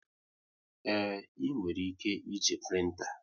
Ee, e nwere ike e ji printa